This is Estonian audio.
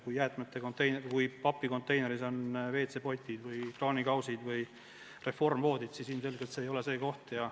Kui ikka papikonteineris on WC-potid või kraanikausid või reformpõhjaga voodid, siis ilmselgelt see ei ole õige koht.